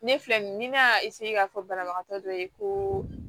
Ne filɛ nin ye ni ne y'a k'a fɔ banabagatɔ dɔ ye ko